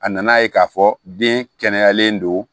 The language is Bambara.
A nana ye k'a fɔ den kɛnɛyalen don